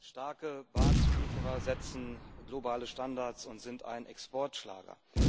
Starke Bahnzulieferer setzen globale Standards und sind ein Exportschlager.